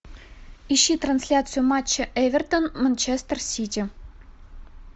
ищи трансляцию матча эвертон манчестер сити